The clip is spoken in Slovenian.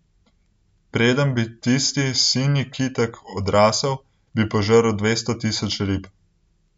Preden bi tisti sinji kitek odrasel, bi požrl dvesto tisoč rib.